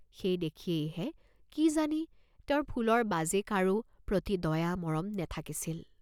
সেই দেখিয়েইহে কি জানি, তেওঁৰ ফুলৰ বাজে কাৰো প্ৰতি দয়া মৰম নেথাকিছিল।